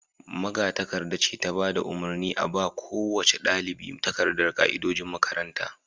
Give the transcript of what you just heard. magatakarda ce ta bada umarni a ba kowace dalibi takardan ka'idojin makaranta